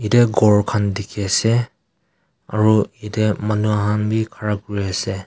ghor khan dikhi ase aro etey manu khan bhi khara kuri ase.